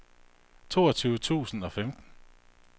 toogtyve tusind og femten